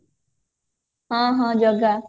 ହଁ ହଁ ଜଗା